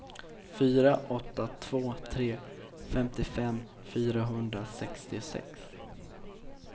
fyra åtta två tre femtiofem fyrahundrasextiosex